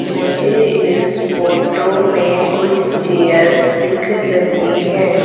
मुझे इस फोटो में कुछ चेयर्स दिख रही हैं।